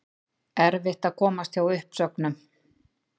Erfitt að komast hjá uppsögnum